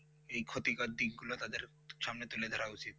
এই ক্ষেতি গ্রোথ দিনগুলো তাদের সামনে তুলে দেওয়া উচিত